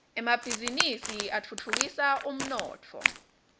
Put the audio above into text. emabhizinisi atfutfukisa umnotfo